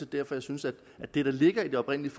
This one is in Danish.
derfor jeg synes at det der ligger i den oprindelige